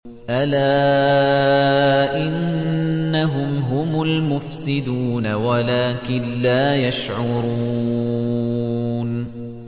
أَلَا إِنَّهُمْ هُمُ الْمُفْسِدُونَ وَلَٰكِن لَّا يَشْعُرُونَ